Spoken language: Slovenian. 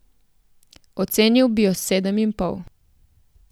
Ocenil bi jo s sedem in pol.